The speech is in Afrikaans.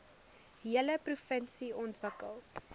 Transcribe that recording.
hele provinsie ontwikkel